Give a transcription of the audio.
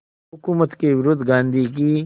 हुकूमत के विरुद्ध गांधी की